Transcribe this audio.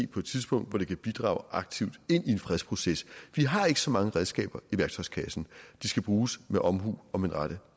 på et tidspunkt hvor det kan bidrage aktivt i en fredsproces vi har ikke så mange redskaber i værktøjskassen de skal bruges med omhu og med den rette